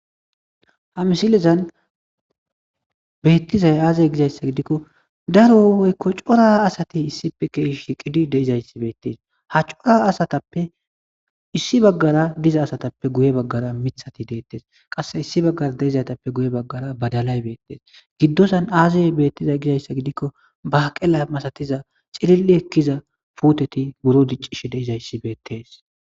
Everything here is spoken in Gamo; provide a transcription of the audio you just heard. ha misilezan beettizay aazey gizayssa gidikko daro woykko cora asati issipe gedde shiqidi de'izayssi beettes ha cora asatappe issi baggara diza asatappe guye baggara miiththati deettes qasse issi baggara de'izaytappe guye baggara baddalay beettes giddozan aazee beettizay gizayssa gidikko baaqela masatiza xililli ekkiza puuteti buro diccishe de'izayssi beettes